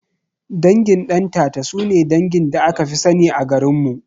Dangin Ɗantata sune dangin da akafi sani a garinmu